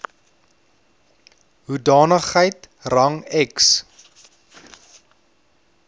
hoedanigheid rang ex